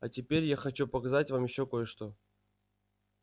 а теперь я хочу показать вам ещё кое-что